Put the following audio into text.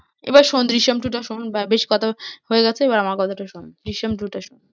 এবার শোন জিসিম টু টা শোন, বা বেশ কথা হয়ে গেছে এবার আমার কথাটা শোন জিসিম টু টা শোন।